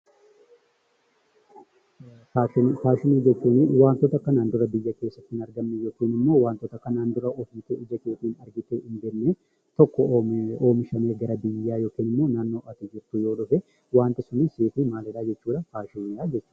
Faashinii jechuun wantoota kanaan dura biyya keessatti hin arganne yookiin ijaan argitee waan hin beekne tokko oomishamee gara biyyaa yoo dhufe wanti sun faashinii jechuudha.